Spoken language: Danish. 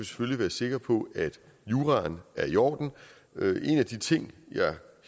selvfølgelig være sikre på at juraen er i orden en af de ting jeg